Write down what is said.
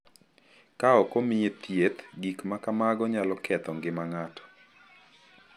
Ka ok omiye thieth, gik ma kamago nyalo ketho ngima ng’ato.